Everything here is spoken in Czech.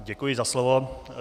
Děkuji za slovo.